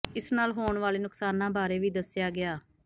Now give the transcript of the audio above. ਇਸ ਨਾਲ ਹੋਣ ਵਾਲੇ ਨੁਕਸਾਨਾਂ ਬਾਰੇ ਵੀ ਦੱਸਿਆ ਗਿਆ